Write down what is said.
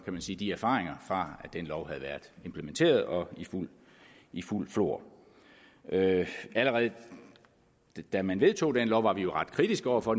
man sige de erfaringer fra at den lov havde været implementeret og i fuldt flor allerede da man vedtog den lov var vi jo ret kritiske over for